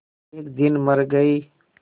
एक दिन मर गई